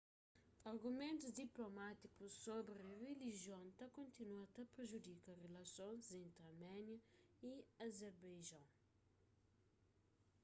argumentus diplomátikus sobri rilijion ta kontinua ta prejudika rilasons entri arménia y azerbaijon